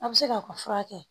A bɛ se k'a ka furakɛ